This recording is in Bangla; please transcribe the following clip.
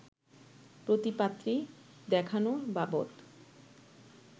প্রতি পাত্রী দেখানো বাবদ